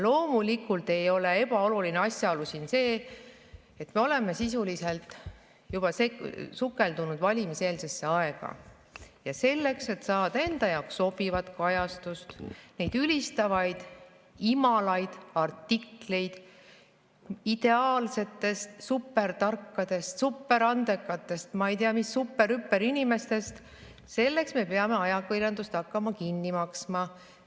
Loomulikult ei ole siin ebaoluline asjaolu see, et oleme sisuliselt juba sukeldunud valimiseelsesse aega ja selleks, et saada enda jaoks sobivat kajastust, neid ülistavaid ja imalaid artikleid ideaalsetest, supertarkadest, superandekatest, ma ei tea, superhüperinimestest, me peame ajakirjandust hakkama kinni maksma.